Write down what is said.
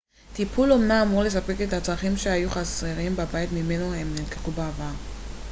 טיפול אומנה אמור לספק את כל הצרכים שהיו חסרים בבית ממנו הם נלקחו בעבר